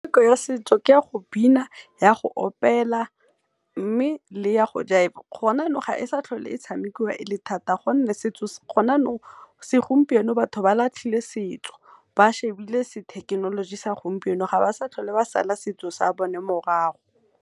Metshameko ya setso ke ya go bina, ya go opela, me le ya go jaiva. Go na nou ga e sa tlhole e tshamekiwa e le thata gonne, go nnou se gompieno batho ba latlhile setso ba shebile se thekenoloji sa gompieno ga ba sa tlhole ba sala setso sa bone morago.